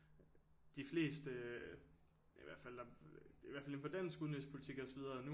De fleste øh i hvert fald der i hvert fald inden for dansk udenrigspolitik og så videre nu